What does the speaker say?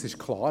Es ist klar: